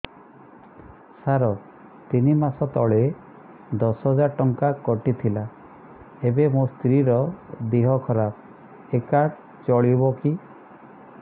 ସାର ତିନି ମାସ ତଳେ ଦଶ ହଜାର ଟଙ୍କା କଟି ଥିଲା ଏବେ ମୋ ସ୍ତ୍ରୀ ର ଦିହ ଖରାପ ଏ କାର୍ଡ ଚଳିବକି